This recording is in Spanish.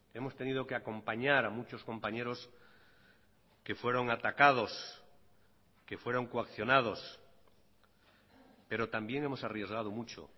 hemos tenido que acompañar a muchos compañeros que fueron atacados que fueron coaccionados pero también hemos arriesgado mucho